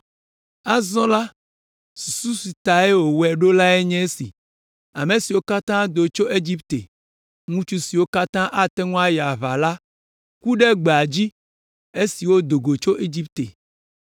Azɔ la, susu si ta wòwɔe ɖo lae nye esi: ame siwo katã do tso Egipte, ŋutsu siwo katã ate ŋu ayi aʋa la ku ɖe gbea dzi esi wodo go tso Egipte.